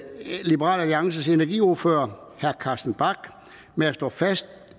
liberal alliances energiordfører herre carsten bach med at slå fast